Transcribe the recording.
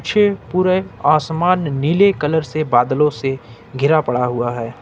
पूरे आसमान नीले कलर से बदलो से घिरा पड़ा है।